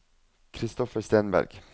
Christopher Stenberg